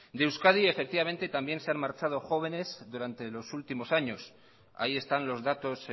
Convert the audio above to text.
de euskadi efectivamente también se han marchado jóvenes durante los últimos años ahí están los datos